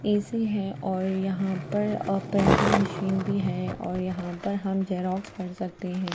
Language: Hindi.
ए_सी है और यहाँ पर प्रिंटिंग मशीन भी है और यहाँ पर हम जेरोक्स कर सकते हैं।